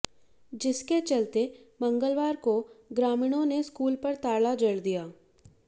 जिसके चलते मंगलवार को ग्रामीणों ने स्कूल पर ताला जड़ दिया